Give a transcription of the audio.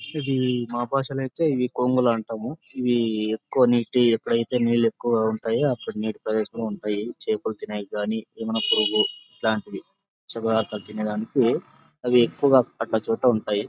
ఇది మా భాషాలో అయితే ఇవి కొంగుల అంటాము ఇవి కొన్నిటి ఎక్కడైతే నీళు ఎక్కువ ఉంటాయి అక్కడ ఉండే ప్రదేశంలో ఉంటాయి చేపలుతినేయిగాని అమైన పురుగు ఇట్లంటివి శుభవార్త తినేడానికి అవి ఎక్కువ అడ్డ చోట్ల ఉంటాయి.